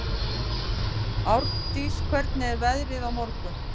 Árndís, hvernig er veðrið á morgun?